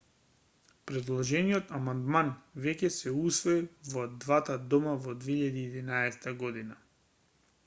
предложениот амандман веќе се усвои во двата дома во 2011 г